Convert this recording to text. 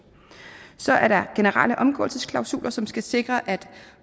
så er der generelle omgåelsesklausuler som skal sikre at